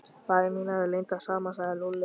Varir mínar eru límdar saman sagði Lúlli.